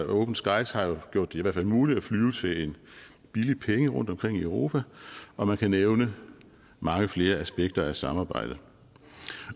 open skies har jo jo i hvert fald muligt at flyve til en billig penge rundt omkring i europa og man kan nævne mange flere aspekter af samarbejdet